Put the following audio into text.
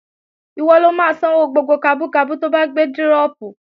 Ìwọ lo máa sanwó gbogbo kabú kabú to bá gbé dírọ̀pù